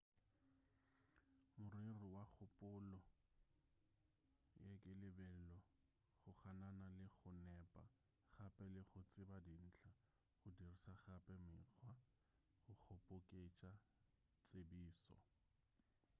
morero wa kgopolo ye ke lebelo go ganana le go nepa gape le go tseba dintlha go diriša gape mekgwa go kgoboketša tsebišo